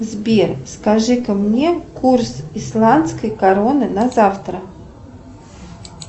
сбер скажи ка мне курс исландской короны на завтра